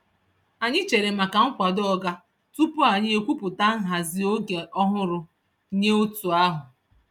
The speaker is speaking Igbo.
Anyị chere maka nkwado oga tupu anyị ekwupụta nhazi oge ọhụrụ nye otu ahụ.